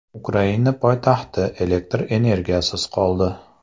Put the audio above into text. Ukraina poytaxti elektr energiyasiz qoldi.